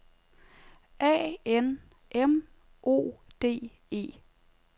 A N M O D E